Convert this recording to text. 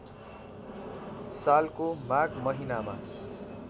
सालको माध महिनामा